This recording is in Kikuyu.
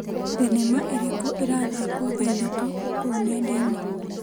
Thinema ĩrĩkũ ĩrathakwo thaa ithatũ kũu nenda-inĩ.